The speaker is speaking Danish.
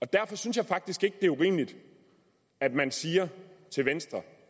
derfor synes jeg faktisk ikke at det er urimeligt at man siger til venstre